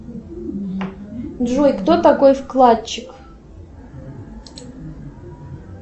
джой кто такой вкладчик